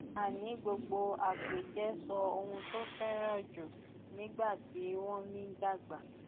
a ní gbogbo àpèjẹ sọ ohun tó fẹràn jù nígbà tí wọn ń dàgbà